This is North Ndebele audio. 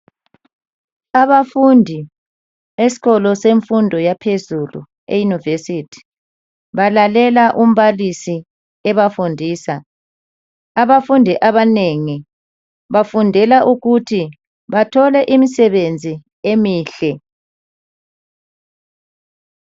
Abafundi esikolo semfundo yaphezulu eYunivesi balalela umbalisi ebafundisa. Abafundi abanengi bafundela ukuthi bathole imisebenzi emihle.